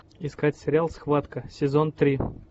искать сериал схватка сезон три